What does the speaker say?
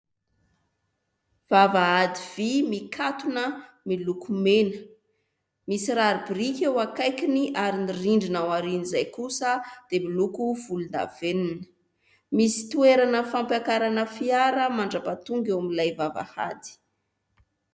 Vavahady vy mikatona miloko mena, misy rary biriky eo akaikiny ary ny rindrina ao aorianan'izay kosa dia miloko volondavenona. Misy toerana fampiakarana fiara mandra-pahatonga eo amin'ilay vavahady.